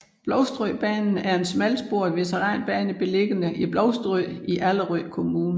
Blovstrød Banen er en smalsporet veteranbane beliggende i Blovstrød i Allerød Kommune